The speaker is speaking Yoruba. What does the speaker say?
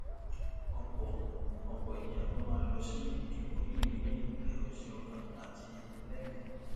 ọpọ ọpọ ènìyàn tó máa lọ sí ìdìbò yìí ní ìrèwèsìọkàn àti ìpinlẹmìí